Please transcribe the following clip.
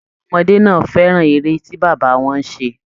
Àwọn ọmọdé náà fẹràn ère tí bàbá wọn ṣe.